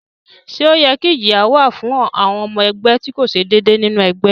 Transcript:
Ṣé ó yẹ kí ìjìyà ó wà fún ọmọ ẹgbẹ́ tí kò ṣe déédéé nínú ẹgbẹ́?